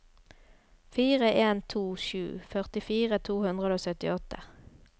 fire en to sju førtifire to hundre og syttiåtte